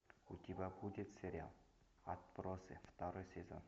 у тебя будет сериал отбросы второй сезон